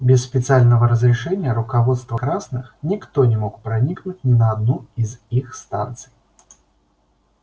без специального разрешения руководства красных никто не мог проникнуть ни на одну из их станций